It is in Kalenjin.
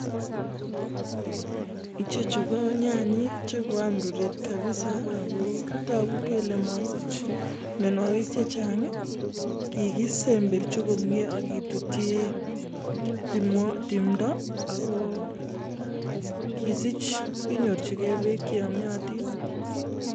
ichechu ko nyanyek che koyam ruret kabisa ak kobori kole masich myanwagik chechang . kikisemberji komnyee ak kekoche bekcheyamei ak ketut tumwagik